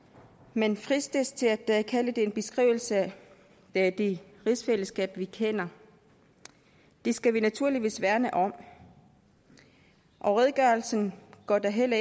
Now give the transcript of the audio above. man fristes til at kalde det en beskrivelse af det rigsfællesskab vi kender det skal vi naturligvis værne om og redegørelsen går da heller